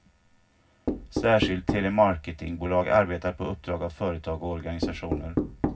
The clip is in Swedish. Särskilda telemarketingbolag arbetar på uppdrag av företag och organisationer.